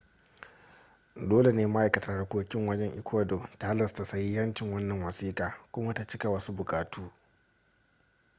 dole ne ma'aikatar harkokin wajen ecuador ta halasta sahihancin wannan wasiƙa kuma ta cika wasu buƙatu